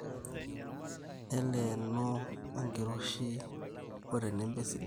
Neleeno enkiroshi otenebo esidani